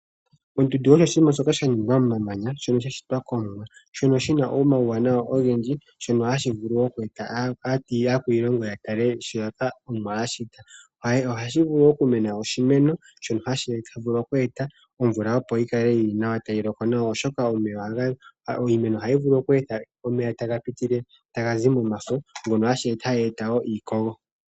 Ondundu oyo oshinima shoka sha ningw amomamanya, shoka sha shitwa kOmuwa, shi na omauwanawa ogendji, hashi vulu okueta aakwiilongo ya tale shoka Omuwa a shita. Ohaku vulu okumena oshimeno shono hashi vulu okueta omvula, opo yi kale tayi loko nawa, oshoka iimeno ohayi kanitha omeya taga pitile momafo, shono hashi eta iikogo.